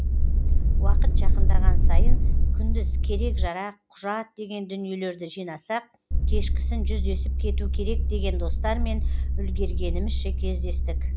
уақыт жақындаған сайын күндіз керек жарақ құжат деген дүниелерді жинасақ кешкісін жүздесіп кету керек деген достармен үлгергенімізше кездестік